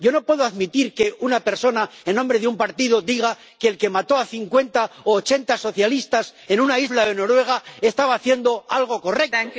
Yo no puedo admitir que una persona, en nombre de un partido, diga que el que mató a cincuenta o a ochenta socialistas en una isla de Noruega estaba haciendo algo correcto.